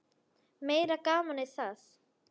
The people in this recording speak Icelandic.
Meira gamanið það!